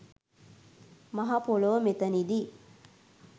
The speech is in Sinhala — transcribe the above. මහ පොළොව මෙතැනදී